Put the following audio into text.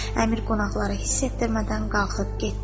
Əmir qonaqları hiss etdirmədən qalxıb getdi.